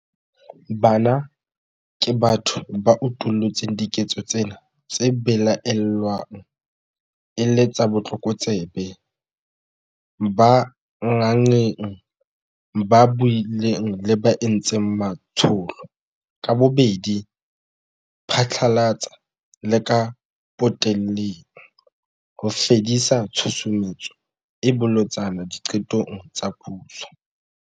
Bana ke batho ba utullutseng diketso tsena tse belaellwang e le tsa botlokotsebe, ba nganngeng, ba buileng le ba entseng matsholo - ka bobedi phatlalatsa le ka potelleng - ho fedisa tshusumetso e bolotsana diqetong tsa puso.